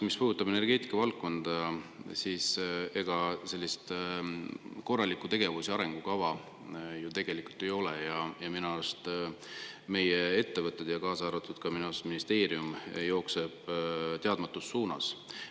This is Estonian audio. Mis puudutab energeetikavaldkonda, siis ega sellist korralikku tegevus‑ ja arengukava ju tegelikult ei ole ja minu arust meie ettevõtted, samuti ministeerium, jooksevad teadmata suunas.